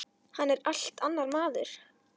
Hann er allt annar maður.